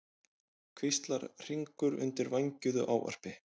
hvíslar Hringur undir vængjuðu ávarpi.